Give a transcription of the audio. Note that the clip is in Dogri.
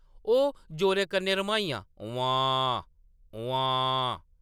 ओह् जोरै कन्नै रम्हाइयां, “उम्म्मांऽऽऽ!” “उम्म्मांऽऽऽ! ”